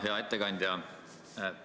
Hea ettekandja!